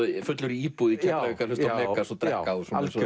fullur í íbúð í Keflavík að hlusta á Megas og drekka